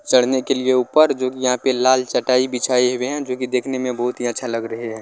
चढ़ने के लिए ऊपर जो की यहां पे लाल चटाई बिछाए हुए है जो की देखने में बहुत ही अच्छा लग रहे है।